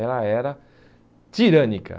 Ela era tirânica.